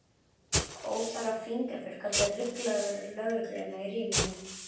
Óþarfa fingraför gátu ruglað lögregluna í ríminu.